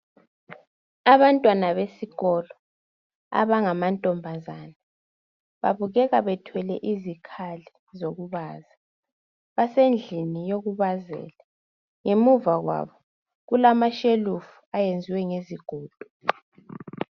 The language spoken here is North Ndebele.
Abantwana besikolo abangamankazana babukeka bethwele izikhali zokubaza basendliyokubazela ngemuva kwabo kulamashelufu ayenziwe ngezigido.